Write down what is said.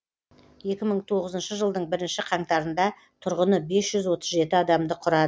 екі мың тоғызыншы жылдың бірінші қаңтарында тұрғыны бес жүз отыз жеті адамды құрады